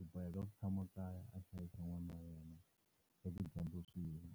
U boheka ku tshama kaya a hlayisa n'wana wa yena swa tidyondzo swi yima.